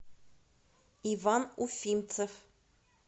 иван уфимцев